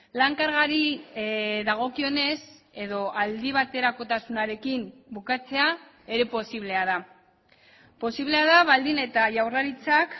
lan kargari dagokionez edo aldibaterakotasunarekin bukatzea ere posiblea da posiblea da baldin eta jaurlaritzak